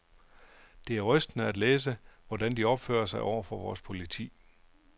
Det er rystende at læse, hvordan de opfører sig over for vores politi.